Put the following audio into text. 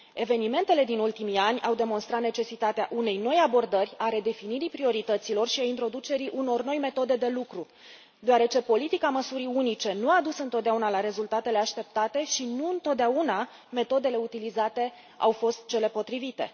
Evenimentele din ultimii ani au demonstrat necesitatea unei noi abordări, a redefinirii priorităților și a introducerii unor noi metode de lucru, deoarece politica măsurii unice nu a adus întotdeauna rezultatele așteptate și nu întotdeauna metodele utilizate au fost cele potrivite.